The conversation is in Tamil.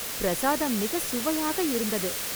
பிரசாதம் மிகச் சுவையாக இருந்தது